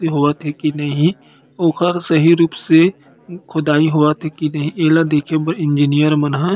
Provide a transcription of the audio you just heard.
इ होवथे की नहीं ओकर से ही रूप से खुदाई होव थे की नहीं इला देखे बार इंजीनियर मन ह --